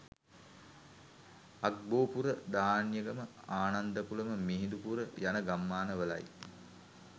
අග්බෝපුර ධාන්‍යගම ආන්දන්කුලම මිහිඳුපුර යන ගම්මනවලයි